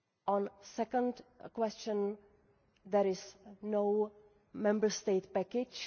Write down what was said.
On the second question, there is no Member State package.